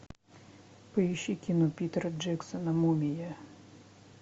поищи кино питера джексона мумия